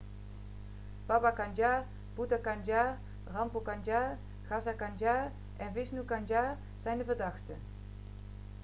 baba kanjar bhutha kanjar rampro kanjar gaza kanjar en vishnu kanjar zijn de verdachten